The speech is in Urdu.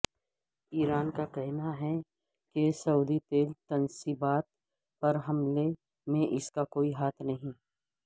ایران کا کہنا ہے کہ سعودی تیل تنصیبات پر حملے میں اسکا کوئی ہاتھ نہیں